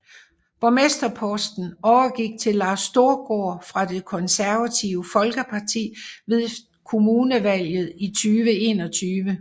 Borgmesterposten overgik til Lars Storgaard fra Det Konservative Folkeparti efter kommunalvalget 2021